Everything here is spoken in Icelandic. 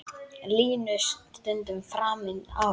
Línu stundum framinn á.